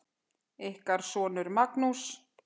Ykkar sonur, Magnús.